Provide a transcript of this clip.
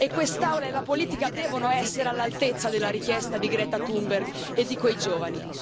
Quest'Aula e la politica devono essere all'altezza della richiesta di Greta Thunberg e di quei giovani.